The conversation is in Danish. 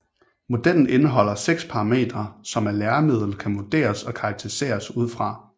Modellen indeholder seks parametre som et læremiddel kan vurderes og karakteriseres ud fra